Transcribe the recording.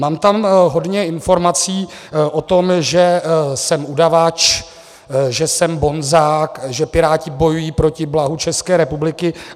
Mám tam hodně informací o tom, že jsem udavač, že jsem bonzák, že Piráti bojují proti blahu České republiky.